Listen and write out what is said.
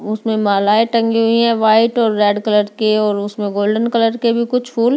उसमे मालाएं टंगी हुई है वाइट और रेड कलर की और उसमे गोल्डन कलर के भी कुछ फूल।